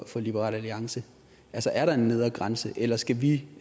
for liberal alliance altså er der en nedre grænse eller skal vi